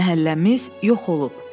Məhəlləmiz yox olub.